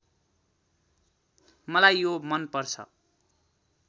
मलाई यो मनपर्छ